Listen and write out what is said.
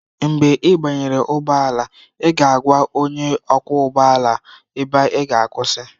Mgbe ị banyere ụgbọ ala, ị ga-agwa onye ọkwọ ụgbọ ala ebe ị ga akwụsị.